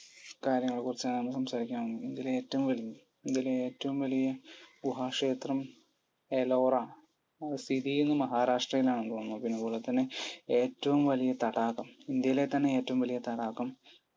കാര്യങ്ങളെക്കുറിച്ചാണ് നമ്മൾ സംസാരിക്കാൻ പോകുന്നത്. ഇന്ത്യയിലെ ഏറ്റവും വലുത്. ഇന്ത്യയിലെ ഏറ്റവും വലിയ ഗുഹാക്ഷേത്രം? എലോറ. സിക്കിമിലോ മഹാരാഷ്ട്രയിലോ ആണെന്ന് തോന്നുന്നു. പിന്നെ അതുപോലെതന്നെ ഏറ്റവും വലിയ തടാകം? ഇന്ത്യയിലെത്തന്നെ ഏറ്റവും വലിയ തടാകം.